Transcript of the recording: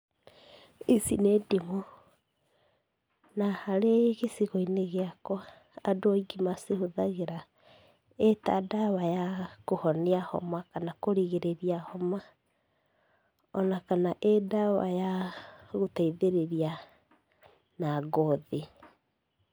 Ici nĩ ndimũ, na harĩ gĩcigo-inĩ gĩakwa, andũ aingĩ macigũthagĩra ĩta ndawa ya kũhonia homa kana kũrigĩrĩria homa, ona kana ĩ-ndawa ya gũteithĩrĩria na ngothi.